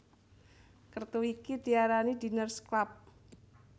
Kertu iki diarani Diners Club